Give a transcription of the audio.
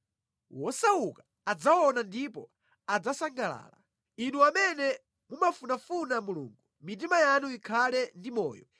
Wosauka adzaona ndipo adzasangalala, Inu amene mumafunafuna Mulungu, mitima yanu ikhale ndi moyo!